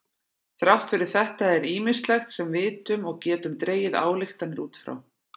Þrátt fyrir þetta er ýmislegt sem vitum og getum dregið ályktanir út frá.